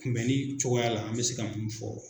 Kunbɛnni cogoya la an bɛ se ka mun fɔ.